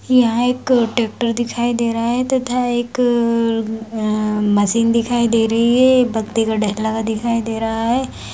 यहाँ एक ट्रैक्टर दिखाई दे रहा है तथा एक आ मशीन दिखाई दे रही है एक पत्ती का ढेर लगा दिखाई दे रहा है।